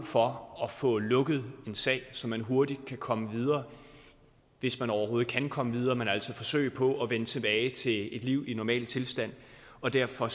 for at få lukket en sag så man hurtigt kan komme videre hvis man overhovedet kan komme videre men altså forsøge på at vende tilbage til et liv i en normal tilstand og derfor